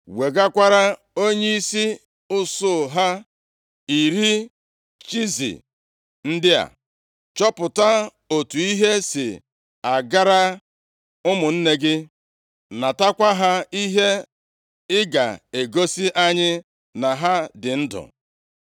Wegakwara onyeisi usuu ha, iri chiizi, + 17:18 Mmiri ara ehi kpụkọrọ akpụkọ ndị a. Chọpụta otu ihe si agara ụmụnne gị + 17:18 \+xt Jen 37:14\+xt* natakwa ha ihe ị ga-egosi anyị na ha dị ndụ.”